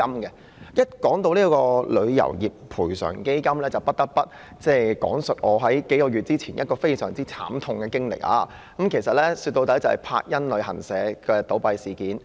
提到賠償基金，我不得不提數月前一次相當慘痛的經歷，就是柏茵旅遊有限公司倒閉的事件。